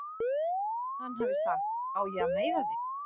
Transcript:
Hann hafi sagt: Á ég að meiða þig?